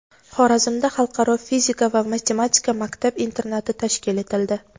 Xorazmda Xalqaro fizika va matematika maktab-internati tashkil etildi.